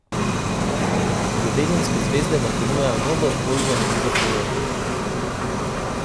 Ljubezenske zvezde vam ponujajo novo, bolj zanimivo priložnost.